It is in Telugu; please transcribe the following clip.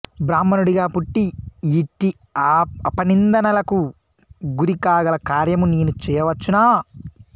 బ్రాహ్మణుడిగా పుట్టి ఇట్టి అపనిందలకు గురి కాగల కార్యమూ నేను చేయవచ్చునా